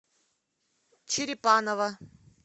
черепаново